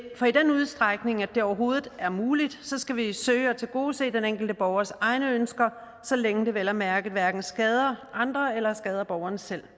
overhovedet er muligt skal vi søge at tilgodese den enkelte borgers egne ønsker så længe det vel at mærke hverken skader andre eller skader borgeren selv